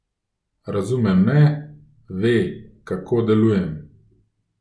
Razume me, ve, kako delujem.